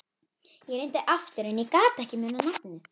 Ég reyndi aftur en ég gat ekki munað nafnið.